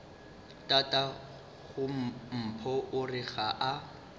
tatagompho o re ga a